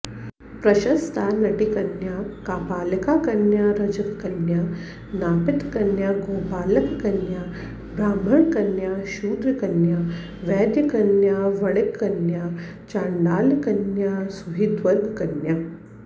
प्रशस्ता नटीकन्या कापालिकाकन्या रजककन्या नापितकन्या गोपालककन्या ब्राह्मणकन्या शूद्रकन्या वैद्यकन्या वणिक्कन्या चाण्डालकन्या सुहृद्वर्गकन्याः